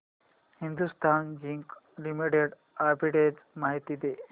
Hindustan Zinc Limited arbitrage माहिती दे